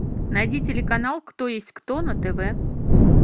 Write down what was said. найди телеканал кто есть кто на тв